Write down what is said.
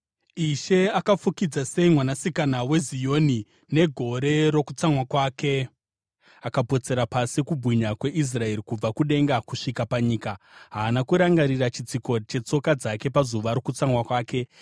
Ishe akafukidza sei Mwanasikana weZioni negore rokutsamwa kwake! Akapotsera pasi kubwinya kweIsraeri, kubva kudenga kusvika panyika; haana kurangarira chitsiko chetsoka dzake muzuva rokutsamwa kwake.